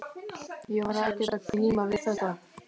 Ég var ekkert að glíma við þetta.